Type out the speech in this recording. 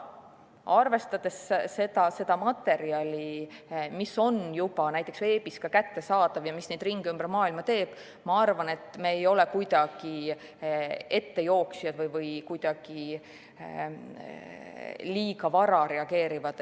Arvestades seda materjali, mis on juba veebis kättesaadav ja mis neid ringe ümber maailma teeb, ma arvan, et me ei ole kuidagi ettejooksjad või liiga vara reageerijad.